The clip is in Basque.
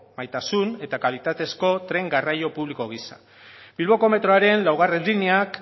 gaitasun eta kalitatezko tren garraio publiko gisa bilboko metroaren laugarrena lineak